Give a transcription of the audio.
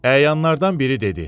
Əyanlardan biri dedi.